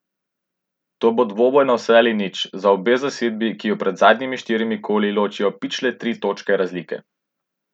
To bo dvoboj na vse ali nič za obe zasedbi, ki ju pred zadnjimi štirimi koli ločijo pičle tri točke razlike.